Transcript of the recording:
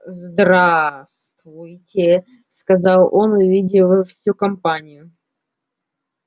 здравствуйте сказал он увидев всю компанию